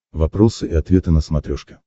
вопросы и ответы на смотрешке